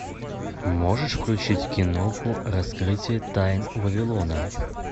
можешь включить киноху раскрытие тайн вавилона